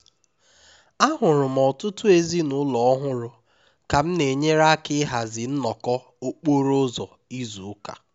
ahụrụ m ọtụtụ ezinụlọ ọhụrụ ka m na-enyere aka ịhazi nnọkọ okporo ụzọ izu ụka